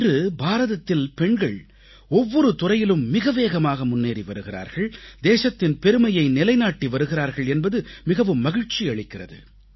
இன்று பாரதத்தில் பெண்கள் ஒவ்வொரு துறையிலும் மிகவேகமாக முன்னேறி வருகிறார்கள் தேசத்தின் பெருமையை நிலைநாட்டி வருகிறார்கள் என்பது மிகவும் மகிழ்ச்சி அளிக்கிறது